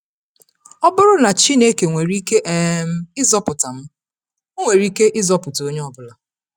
Ọ bụrụ na Chineke nwere ike um ịzọpụta m, Ọ nwere ike ịzọpụta onye ọ bụla.